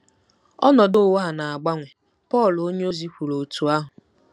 “ Ọnọdụ ụwa a na-agbanwe .” Pọl onyeozi kwuru otú ahụ.